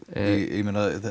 ég meina